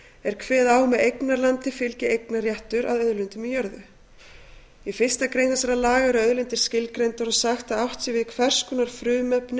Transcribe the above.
er kveðið á um að eignarlandi fylgir eignarréttur að auðlindum í jörðu í fyrstu grein þessara laga eru auðlindir skilgreindar og sagt að átt sé við hvers konar frumefni